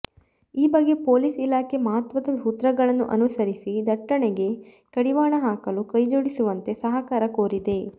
ಈ ಬಗ್ಗೆ ಪೊಲೀಸ್ ಇಲಾಖೆ ಮಹತ್ವದ ಸೂತ್ರಗಳನ್ನು ಅನುಸರಿಸಿ ದಟ್ಟಣೆಗೆ ಕಡಿವಾಣ ಹಾಕಲು ಕೈಜೋಡಿಸುವಂತೆ ಸಹಕಾರ ಕೋರಿದೆ